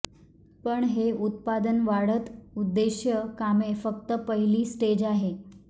पण हे उत्पादन वाढत उद्देश कामे फक्त पहिली स्टेज आहे